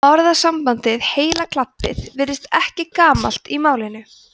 orðasambandið heila klabbið virðist ekki gamalt í málinu